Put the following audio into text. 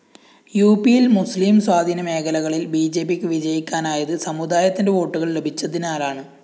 യുപിയില്‍ മുസ്ലിം സ്വാധീനമേഖലകളില്‍ ബിജെപിക്ക് വിജയിക്കാനായത് സമുദായത്തിന്റെ വോട്ടുകള്‍ ലഭിച്ചതിനാലാണ്